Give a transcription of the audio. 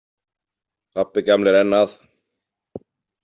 Pabbi gamli er enn að.